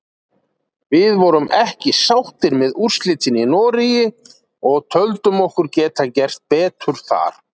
Við vorum ekki sáttir með úrslitin í Noregi og töldum okkur geta gert betur þar.